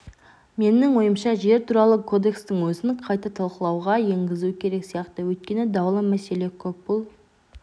менің ойымша жер туралы кодекстің өзін қайта талқылауға енгізу керек сияқты өйткені даулы мәселе көп бұл